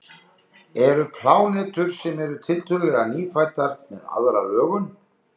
Eru plánetur sem eru tiltölulega nýfæddar með aðra lögun?